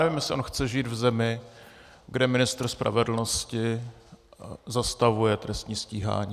Nevím, jestli on chce žít v zemi, kde ministr spravedlnosti zastavuje trestní stíhání.